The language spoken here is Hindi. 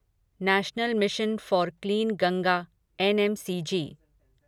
national mission for clean Ganga NMCG